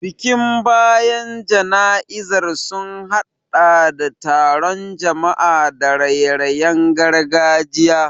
Bikin bayan jana'izar sun hadɗa da taron jama'a da raye-rayen gargajiya.